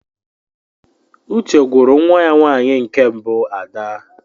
Uche gwuru nwa ya nwanyi nke mbu Ada